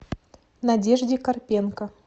надежде карпенко